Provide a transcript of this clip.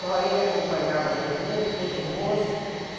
Só ele acompanhava a gente, mesmo depois de moça.